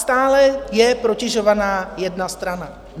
Stále je protežována jedna strana.